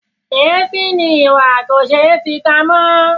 Èéfín ni ìwà kò ṣé fi pamọ́.